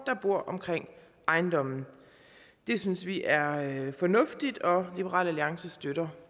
der bor omkring ejendommen det synes vi er fornuftigt og liberal alliance støtter